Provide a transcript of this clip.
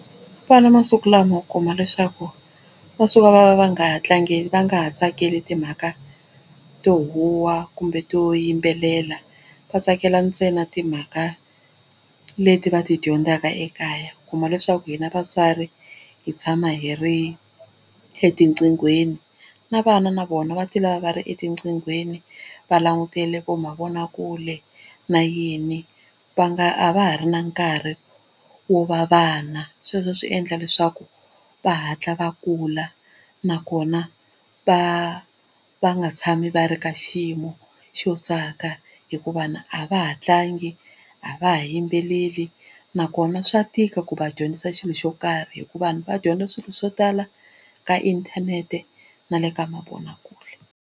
Vana masiku lama u kuma leswaku va suka va va nga ha va nga ha tsakeli timhaka to huwa kumbe to yimbelela vatsakela ntsena timhaka leti va ti dyondzaka ekaya u kuma leswaku hina vatswari hi tshama hi ri etiqinghweni na vana na vona va ti lava va ri etiqinghweni va langutile vo mavonakule na yini va nga a va ha ri na nkarhi wo va vana sweswo swi endla leswaku va hatla va kula nakona va va nga tshami va ri ka xiyimo xo tsaka hikuva na a va ha tlangi a va ha yimbeleli nakona swa tika ku va dyondzisa xilo xo karhi hikuva vanhu va dyondza swilo swo tala ka inthanete na le ka mavonakule.